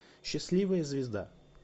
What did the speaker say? счастливая звезда